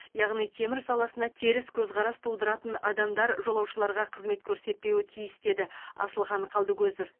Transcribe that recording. яғни темір саласына теріс көзқарас тудыратын адамдар жолаушыларға қызмет көрсетпеу тиіс деді асылхан қалдыкозов